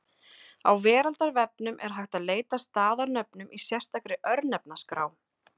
Á Veraldarvefnum er hægt að leita að staðarnöfnum í sérstakri Örnefnaskrá.